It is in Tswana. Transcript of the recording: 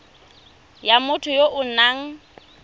ya motho ya o nang